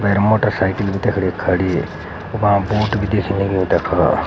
भैर मोटरसाइकिल तेफर एक खड़ी उबा बोट भी दिखणी लगीं वो देखो।